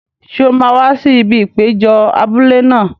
Ṣé o máa wá sí ibi ìpéjọ abúlé náà?